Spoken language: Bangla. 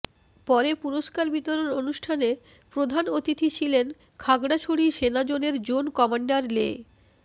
পরে পুরস্কার বিতরণ অনুষ্ঠানে প্রধান অতিথি ছিলেন খাগড়াছড়ি সেনাজোনের জোন কমান্ডার লে